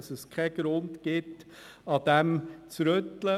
Es gibt keinen Grund, etwas daran zu ändern.